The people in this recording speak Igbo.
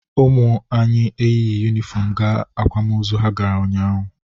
Ụmụ anyị eyighi yunifọmụ gaa akwamozu ha gara ụnyaahụ.